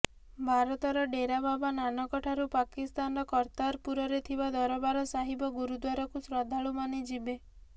ଭାରତର ଡେରା ବାବା ନାନକ ଠାରୁ ପାକିସ୍ତାନର କର୍ତ୍ତାରପୁରରେ ଥିବା ଦରବାର ସାହିବ ଗୁରୁଦ୍ୱାରକୁ ଶ୍ରଦ୍ଧାଳୁମାନେ ଯିବେ